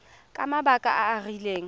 ka mabaka a a rileng